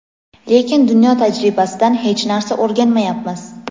lekin dunyo tajribasidan hech narsa o‘rganmayapmiz.